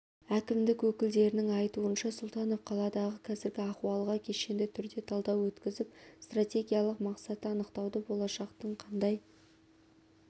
әкімдік өкілдерінің айтуынша сұлтанов қаладағы қазіргі ахуалға кешенді түрде талдау өткізіп стратегиялық мақсатты анықтауды болашақтың қандай